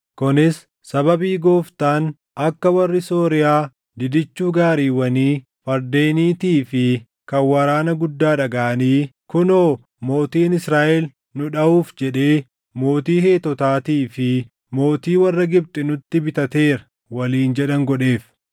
Kunis sababii Gooftaan akka warri Sooriyaa didichuu gaariiwwanii, fardeeniitii fi kan waraana guddaa dhagaʼanii, “Kunoo, mootiin Israaʼel nu dhaʼuuf jedhee mootii Heetotaatii fi mootii warra Gibxi nutti bitateera!” waliin jedhan godheef.